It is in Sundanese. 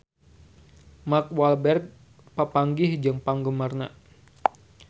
Mark Walberg papanggih jeung penggemarna